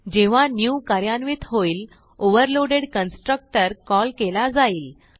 जेव्हा न्यू कार्यान्वित होईल ओव्हरलोडेड कन्स्ट्रक्टर कॉल केला जाईल